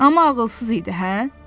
Amma ağılsız idi, hə?